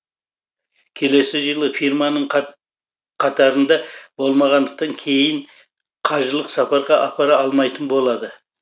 келесі жылы фирманың қатарында болмағандықтан кейін қажылық сапарға апара алмайтын болады